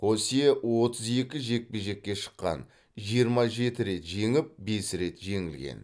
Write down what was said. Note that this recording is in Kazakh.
хосе отыз екі жекпе жекке шыққан жиырма жеті рет жеңіп бес рет жеңілген